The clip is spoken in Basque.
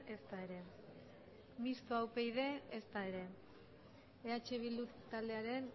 ezta ere mistoa upyd ezta ere eh bildu taldearen